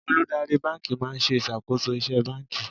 Olùdarí báńkì máa ń ṣe ìṣàkóso iṣẹ́ báńkì.